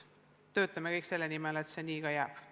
Töötame kõik selle nimel, et see nii ka jääks.